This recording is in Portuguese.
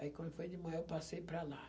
Aí, quando foi de manhã, eu passei para lá.